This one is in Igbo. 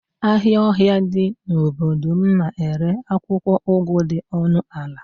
ahịa ọhịa dị n'obodo m na-ere akwụkwọ ugu dị ọnụ ala